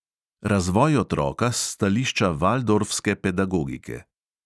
Razvoj otroka s stališča valdorfske pedagogike.